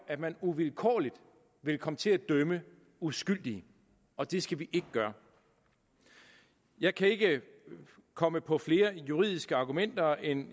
at man uvilkårligt ville komme til at dømme uskyldige og det skal vi ikke gøre jeg kan ikke komme på flere juridiske argumenter end